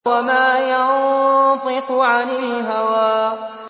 وَمَا يَنطِقُ عَنِ الْهَوَىٰ